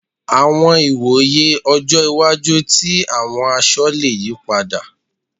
Àwọn ìwòye ọjọ́ iwájú tí àwọn aṣọ le yí padà.